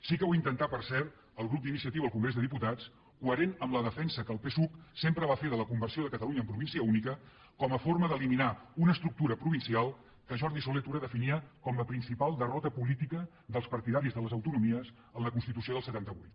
sí que ho intentà per cert el grup d’iniciativa al congrés dels diputats coherent amb la defensa que el psuc sempre va fer de la conversió de catalunya en província única com a forma d’eliminar una estructura provincial que jordi solé i tura definia com la principal derrota política dels partidaris de les autonomies en la constitució del setanta vuit